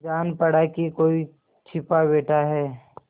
जान पड़ा कि कोई छिपा बैठा है